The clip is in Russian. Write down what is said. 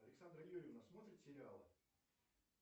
александра юрьевна смотрит сериалы